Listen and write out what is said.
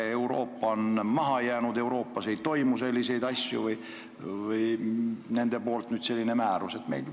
Kas muu Euroopa on maha jäänud, kas mujal ei käi asjad nii, et nüüd selline määrus välja anti?